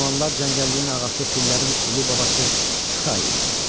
O zamanlar cəngəlliyin ağası fillərin ulu babası Txa idi.